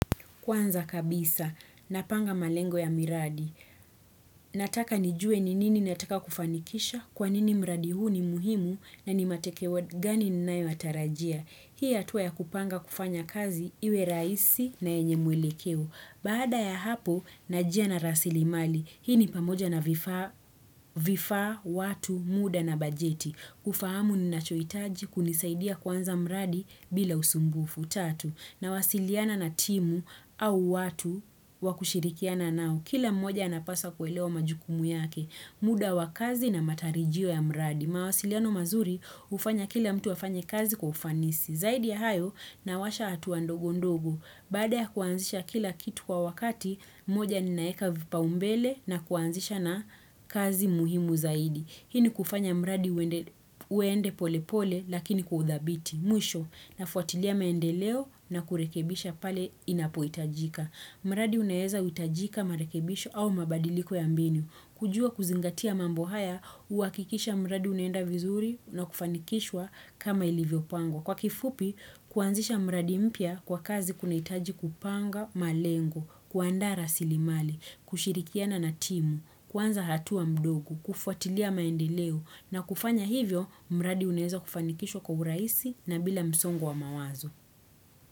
Kwanza kabisa, napanga malengo ya miradi. Nataka nijue ni nini nataka kufanikisha, kwa nini mradi huu ni muhimu na ni matekewa gani ninayo yatarajia. Hii hatua ya kupanga kufanya kazi iwe raisi na yenye mwelekeo. Baada ya hapo, na jia na rasilimali. Hii ni pamoja na vifaa, watu, muda na bajeti. Kufahamu ninachoitaji kunisaidia kuanza mradi bila usumbufu. Nawasiliana na timu au watu wa kushirikiana nao. Kila mmoja anapasa kuelewa majukumu yake. Muda wa kazi na matarijio ya mradi. Mawasiliano mazuri ufanya kila mtu afanye kazi kwa ufanisi. Zaidi ya hayo nawasha hatua ndogo ndogo. Baada ya kuanzisha kila kitu kwa wakati, moja ninaeka vipaumbele na kuanzisha na kazi muhimu zaidi. Hii ni kufanya mradi uende pole pole lakini kwa uthabiti. Mwisho nafuatilia maendeleo na kurekebisha pale inapo itajika. Mradi unaeza utajika marekebisho au mabadiliko ya mbinu. Kujua kuzingatia mambo haya, uakikisha mradi unaenda vizuri na kufanikishwa kama ilivyo pangwa. Kwa kifupi, kuanzisha mradi mpya kwa kazi kunaitaji kupanga malengo, kuandaa rasilimali, kushirikiana na timu, kuanza hatua mdogo, kufuatilia maendeleo na kufanya hivyo, mradi unaeza kufanikishwa kwa uraisi na bila msongo wa mawazo.